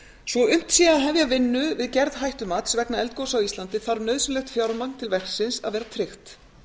svo unnt sé að hefja vinnu við gerð hættumats vegna eldgosa á íslandi þarf nauðsynlegt fjármagn til verksins að vera tryggt